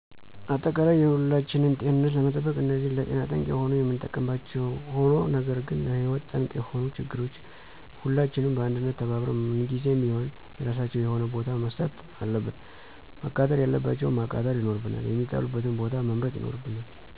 አጠቃላይ የሁላችንን ጤንነት ለመጠበቅ እነዚህን ለጤና ጠንቅ የሆኑ የምንጠቀምባቸዉ ሆኖ ነገር ግን ለህይወት ጠንቅ የሆኑትን ችግሮች ሁላችንም በአንድነት ተባብረን <ምን ጊዜም ቢሆን የራሳቸዉ የሆነ ቦታ>መስጠት አለብን። መቃጠል ያለባቸዉን ማቃጠል ይኖርብናል፣ የሚጣሉበትን ቦታ መምረጥ ይኖርብናል